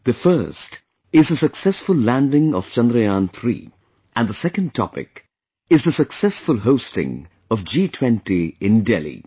The first is the successful landing of Chandrayaan3 and the second topic is the successful hosting of G20 in Delhi